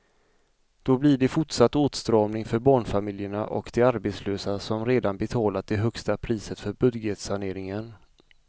Då blir det fortsatt åtstramning för barnfamiljerna och de arbetslösa som redan betalat det högsta priset för budgetsaneringen.